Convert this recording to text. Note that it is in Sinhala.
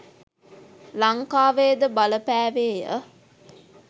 ලංකාවේ ද බලපෑවේ ය.